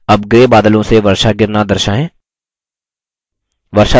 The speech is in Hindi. अब grey बादलों से वर्षा गिरना दर्शाएँ